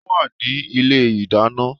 Ó wà ní ilé ìdáná